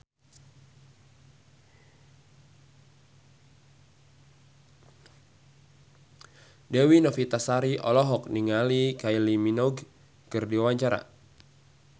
Dewi Novitasari olohok ningali Kylie Minogue keur diwawancara